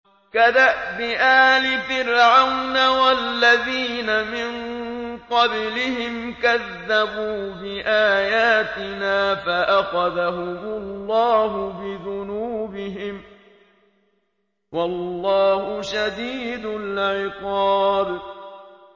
كَدَأْبِ آلِ فِرْعَوْنَ وَالَّذِينَ مِن قَبْلِهِمْ ۚ كَذَّبُوا بِآيَاتِنَا فَأَخَذَهُمُ اللَّهُ بِذُنُوبِهِمْ ۗ وَاللَّهُ شَدِيدُ الْعِقَابِ